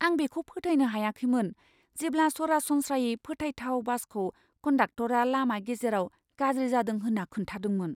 आं बेखौ फोथायनो हायाखैमोन जेब्ला सरसनस्रायै फोथायथाव बासखौ कन्डाकट'रा लामा गेजेराव गाज्रि जादों होन्ना खोन्थादोंमोन।